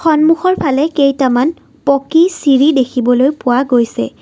সন্মুখৰ ফালে কেইটামান পকী চিৰি দেখিবলৈ পোৱা গৈছে।